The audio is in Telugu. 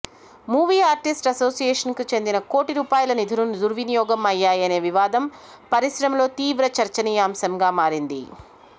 మూవీ ఆర్టిస్ట్ అసోసియేషన్ కి చెందిన కోటి రూపాయల నిధులు దుర్వినియోగం అయ్యాయనే వివాదం పరిశ్రమలో తీవ్ర చర్చినీయాంశంగా మారింది